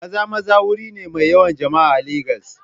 Maza-Maza wuri ne mai yawan jama'a a Legas.